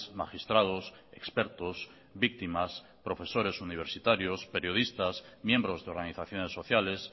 magistrados expertos víctimas profesores universitarios periodistas miembros de organizaciones sociales